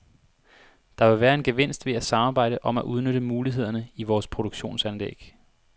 Der vil være en gevinst ved at samarbejde om at udnytte mulighederne i vores produktionsanlæg.